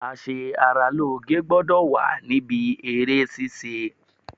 A ṣe ara lóge gbọ́dọ̀ wà níbí eré ṣíṣe.